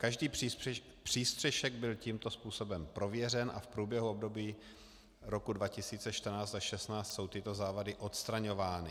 Každý přístřešek byl tímto způsobem prověřen a v průběhu období roku 2014 až 2016 jsou tyto závady odstraňovány.